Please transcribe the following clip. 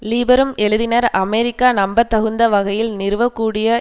லீபரும் எழுதினர் அமெரிக்கா நம்பத்தக்குந்த வகையில் நிறுவக்கூடிய